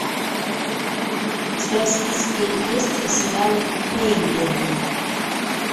у тебя в списке есть сериал хейвен